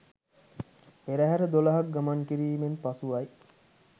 පෙරහර 12 ක් ගමන් කිරීමෙන් පසුවයි.